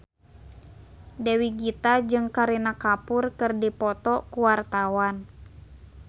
Dewi Gita jeung Kareena Kapoor keur dipoto ku wartawan